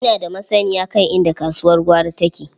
Ina da masanniya kan inda kasuwar gwari take.